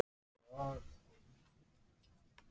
Ég lifi í framtíðinni.